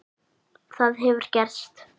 Það hefur gerst.